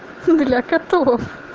для котов